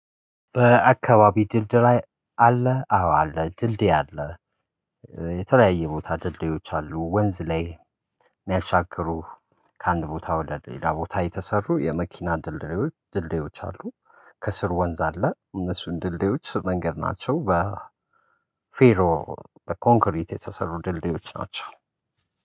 በአካባቢ ድልድይ ላይ አለ አዎ አለ ድልድይ አለ። የተለያየ ቦታ ድልድዮች አሉ ወንዝ ላይ የሚያሻግሩ ከአንድ ቦታ ወደ ሌላ ቦታ የተሰሩ የመኪና ድልድዮች ድልድዮች አሉ። ከስር ወንዝ አለ እነሱን ድልድዮች መንገድ ናቸው። በ ፌሮ በኮንክሪት የተሰሩ ድልድዮች ናቸው